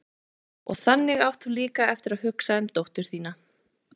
Og þannig átt þú líka eftir að hugsa um dóttur þína.